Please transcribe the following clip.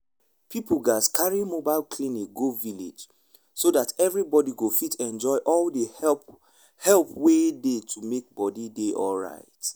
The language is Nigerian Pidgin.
people gatz carry mobile clinic go village so that everybody go fit enjoy all the help help wey dey to make body dey alright.